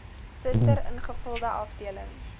suster ingevulde afdeling